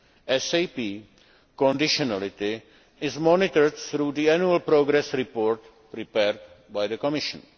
SAP conditionality is monitored through the annual progress reports prepared by the Commission.